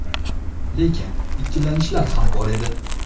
Lekin ikkilanishlar ham bor edi.